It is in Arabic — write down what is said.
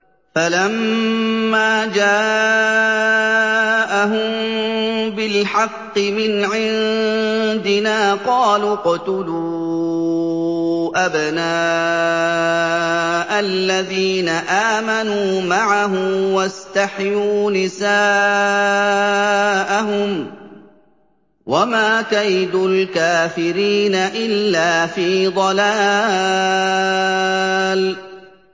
فَلَمَّا جَاءَهُم بِالْحَقِّ مِنْ عِندِنَا قَالُوا اقْتُلُوا أَبْنَاءَ الَّذِينَ آمَنُوا مَعَهُ وَاسْتَحْيُوا نِسَاءَهُمْ ۚ وَمَا كَيْدُ الْكَافِرِينَ إِلَّا فِي ضَلَالٍ